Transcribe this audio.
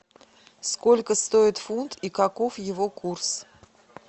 сколько стоит фунт и каков его курс